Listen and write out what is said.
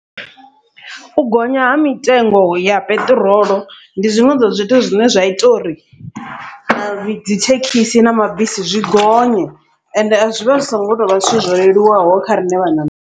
U gonya ha mitengo ya peṱirolo, ndi zwiṅwe zwa zwithu zwine zwa ita uri dzithekhisi na mabisi zwi gonye, ende a zwivha zwi songo tovha zwithu zwo leluwaho kha riṋe vhaṋameli.